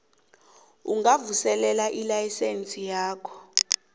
ungavuselela ilayisense yakho